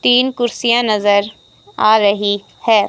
तीन कुर्सियां नजर आ रही है।